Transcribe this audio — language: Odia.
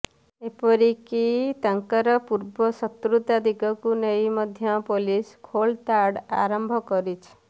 ଏପରିକି ତାଙ୍କର ପୂର୍ବ ଶତ୍ରୁତା ଦିଗକୁ ନେଇ ମଧ୍ୟ ପୋଲିସ ଖୋଳତାଡ ଆରମ୍ଭ କରିଛି